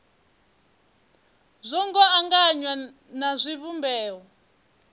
zwo ngo anganywa na zwivhumbeo